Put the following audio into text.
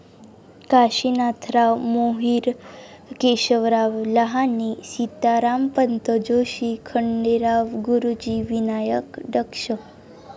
Kashinathrao Mohrir. Keshavrao Lahane, Sitarampant Joshi, Khanderao Guruji, Vinayak Daksh.